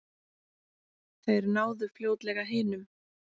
Þeir náðu fljótlega hinum.